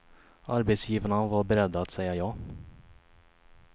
Arbetsgivarna var beredda att säga ja.